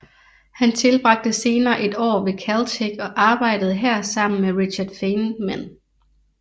Han tilbragte senere et år ved Caltech og arbejdede her sammen med Richard Feynman